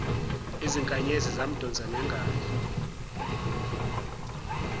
izinkanyezi yamdonsa ngengalo